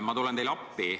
Ma tulen teile appi.